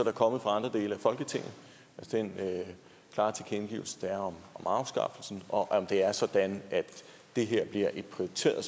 er kommet fra andre dele af folketinget den klare tilkendegivelse der er om afskaffelsen og om det er sådan at det her bliver et prioriteret